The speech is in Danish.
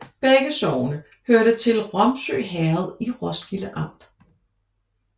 Begge sogne hørte til Ramsø Herred i Roskilde Amt